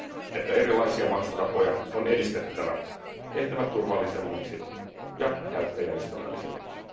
että erilaisia maksutapoja on edistettävä, tehtävä turvallisemmiksi ja käyttäjäystävällisemmiksi.